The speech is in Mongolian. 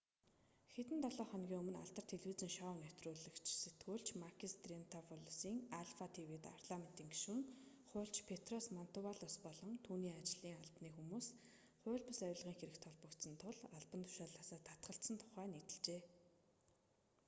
хэдэн долоо хоногийн өмнө алдарт телевизийн шоу нэвтрүүлэгт сэтгүүлч макис триантафилопулос альфа тв-д парламентын гишүүн хуульч петрос мантувалос болон түүний ажлын албаны хүмүүс хууль бус авилгын хэрэгт холбогдсон тул албан тушаалаасаа татгалзсан тухай нийтэлжээ